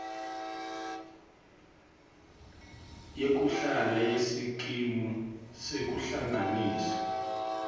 yekuhlala yesikimu sekuhlanganisa